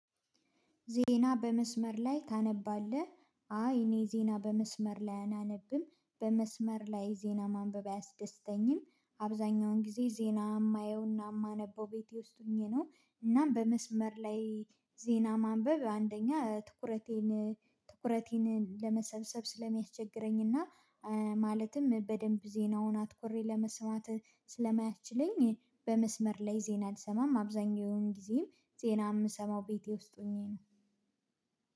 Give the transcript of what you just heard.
ዜና በመስመር ላይ ታነባለህ? አይ እኔ ዜና በመስመር ላይ አላነብም በመስመር ላይ ዜና ማንበብ አያስደስተኝም። አብዛኛውን ጊዜ ዜና የማየውና የማነበው ቤቴ ውስጥ ሆኜ ነው። እናም በመስመር ላይ ዜና ማንበብ አንደኛ ትኩረቴን ትኩረቴን ለመሰብሰብ ስለሚያስቸግረኝና ማለትም በደንብ ዜናውን አትኮሬ ለመስማት ስለማያችለኝ። በመስመር ላይ ዜና አልሰማም አብዛኛውን ጊዜም ዜና የምሰማው ቤቴ ውስጥ ሆኜ ነው።